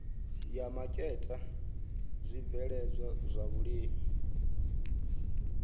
ya maketa zwibveledzwa zwa vhulimi